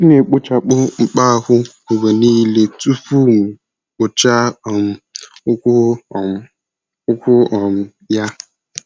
M na-ekpochapụ mkpa ahụ mgbe niile tupu m kpụchaa um ụkwụ um ụkwụ um ya.